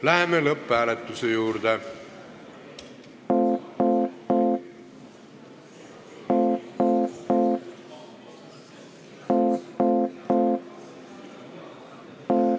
Läheme lõpphääletuse juurde.